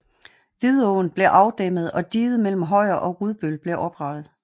Vidåen blev afdæmmet og diget mellem Højer og Rudbøl blev oprettet